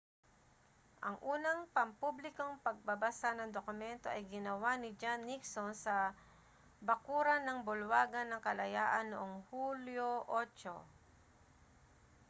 ang unang pampublikong pagbabasa ng dokumento ay ginawa ni john nixon sa bakuran ng bulwagan ng kalayaan noong hulyo 8